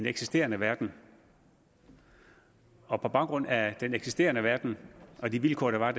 eksisterende verden og på baggrund af den eksisterende verden og de vilkår der var